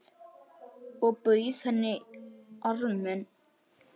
Og bauð henni arminn.